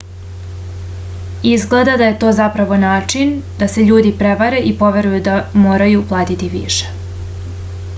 izgleda da je to zapravo način da se ljudi prevare i poveruju da moraju platiti više